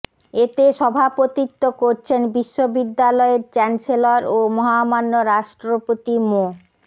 এতে সভাপতিত্ব করছেন বিশ্ববিদ্যালয়ের চ্যান্সেলর ও মহামান্য রাষ্ট্রপতি মো